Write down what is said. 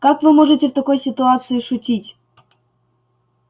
как вы можете в такой ситуации шутить